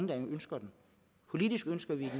der ønsker den politisk ønsker vi